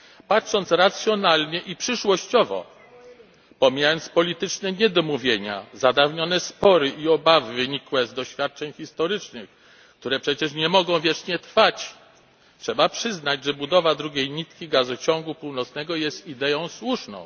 Patrząc racjonalnie i przyszłościowo pomijając polityczne niedomówienia, zadawnione spory i obawy wynikłe z doświadczeń historycznych, które przecież nie mogą wiecznie trwać trzeba przyznać, że budowa drugiej nitki Gazociągu Północnego jest ideą słuszną.